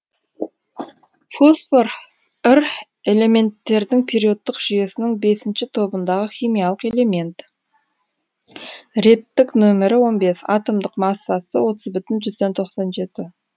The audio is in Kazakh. фосфор р элементтердің периодтық жүйесінің бесінші тобындағы химиялық элемент реттік нөмірі он бес атомдық массасы отыз бүтін жүзден тоқсан жеті